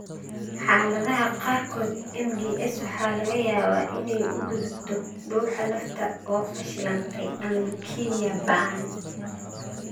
Xaaladaha qaarkood, MDS waxa laga yaabaa inay u gudubto dhuuxa lafta oo fashilantay ama leukemia ba'an.